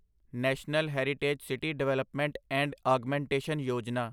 national heritage city development and augmentation Yojana